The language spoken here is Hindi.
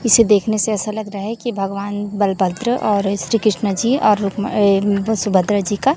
इसे देखने से ऐसा लग रहा है कि भगवान बलभद्र और श्री कृष्ण जी और अह सुभद्रा जी का--